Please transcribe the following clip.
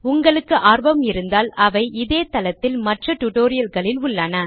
உங்களுக்கு ஆர்வம் இருந்தால் அவை இதே தளத்தில் மற்ற டிடோரியல்களில் உள்ளன